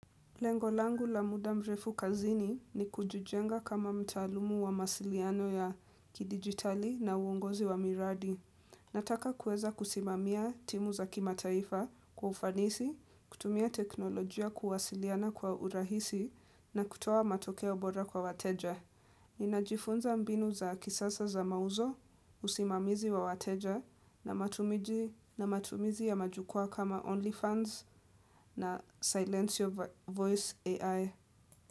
Lengo langu la muda mrefu kazini ni kujijenga kama mtaalumu wa masiliano ya kidigitali na uongozi wa miradi. Nataka kueza kusimamia timu za kimataifa kwa ufanisi, kutumia teknolojia kuwasiliana kwa urahisi na kutoa matokeo bora kwa wateja. Ninajifunza mbinu za kisasa za mauzo, usimamizi wa wateja na matumizi ya majukua kama OnlyFans na Silence Voice AI.